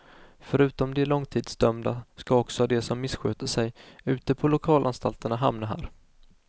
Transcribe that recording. Förutom de långtidsdömda ska också de som missköter sig ute på lokalanstalterna hamna här.